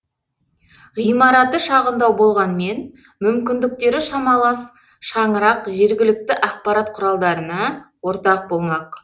ғимараты шағындау болғанмен мүмкіндіктері шамалас шаңырақ жергілікті ақпарат құралдарына ортақ болмақ